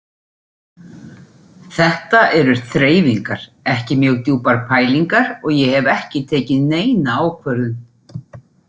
Þetta eru þreifingar, ekki mjög djúpar pælingar og ég hef ekki tekið neina ákvörðun.